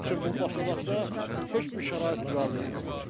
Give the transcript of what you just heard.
Uşaq üçün bu başalaqda heç bir şərait düzəldilməyib.